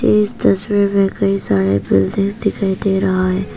इस तस्वीर में कई सारे बिल्डिंग दिखाई दे रहा है।